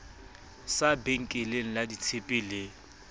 sa benkeleng la ditshepe le